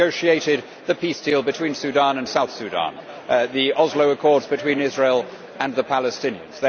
They negotiated the peace deal between Sudan and South Sudan, the Oslo Accords between Israel and the Palestinians.